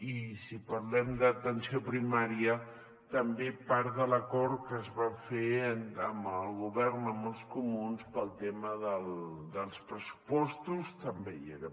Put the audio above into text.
i si parlem d’atenció primària també part de l’acord que es va fer amb el govern amb els comuns pel tema dels pressupostos també hi era